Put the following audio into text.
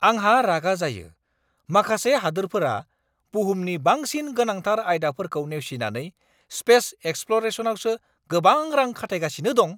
आंहा रागा जायो - माखासे हादोरफोरा बुहुमनि बांसिन गोनांथार आयदाफोरखौ नेवसिनानै स्पेस एक्सप्ल'रेसनआवसो गोबां रां खाथायगासिनो दं!